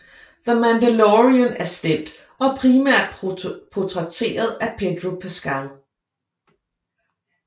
The Mandalorian er stemt og primært portrætteret af Pedro Pascal